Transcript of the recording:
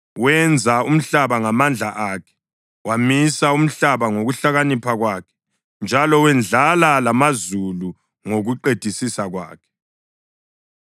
Wenza umhlaba ngamandla akhe; wamisa umhlaba ngokuhlakanipha kwakhe njalo wendlala lamazulu ngokuqedisisa kwakhe.